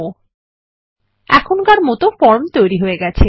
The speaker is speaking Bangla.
000737 000710 এখনকার মতো ফর্ম তৈরী হয়ে গেছে